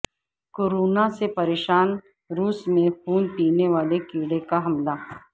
corona سے پریشان روس میں خون پینے والے کیڑے کا حملہ